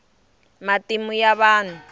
matimu ya vahnu